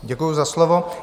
Děkuji za slovo.